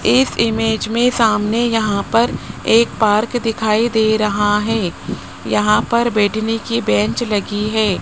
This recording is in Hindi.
इस इमेज में सामने यहां पर एक पार्क दिखाई दे रहा है यहां पर बैठने की बेंच लगी है।